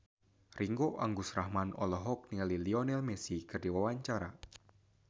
Ringgo Agus Rahman olohok ningali Lionel Messi keur diwawancara